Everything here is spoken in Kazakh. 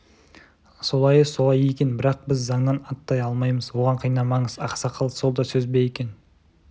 солайы солай екен бірақ біз заңнан аттай алмаймыз оған қинамаңыз ақсақал сол да сөз бе екен